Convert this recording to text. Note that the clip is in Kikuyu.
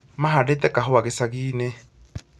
Mahandĩte kahũa gicagi-inĩ